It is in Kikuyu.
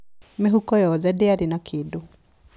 Mĩhuko yothe ndĩarĩ na kĩndũ.